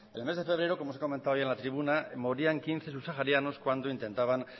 el mes de febrero como ya se ha comentado ahí en la tribuna morían quince subsaharianos cuando intentaban